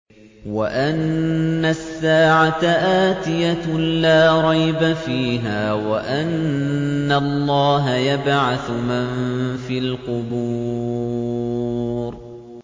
وَأَنَّ السَّاعَةَ آتِيَةٌ لَّا رَيْبَ فِيهَا وَأَنَّ اللَّهَ يَبْعَثُ مَن فِي الْقُبُورِ